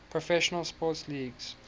professional sports leagues